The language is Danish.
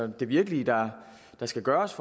der virkelig skal gøres